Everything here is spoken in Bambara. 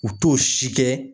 U t'o si kɛ.